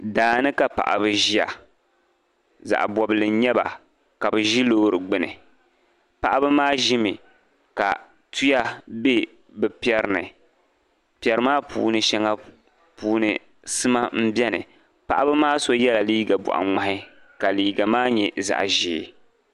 Daa ni ka paɣiba ʒia. Zaɣ' bɔbigi n-nyɛ ba ka bɛ ʒi loori gbini. Paɣiba maa ʒimi ka tuya be bɛ piɛri ni. Piɛri maa shɛŋa puuni sima m-beni. Paɣiba maa so yɛla liiga bɔɣiŋmahi ka liiga maa nyɛ zaɣ' ʒee.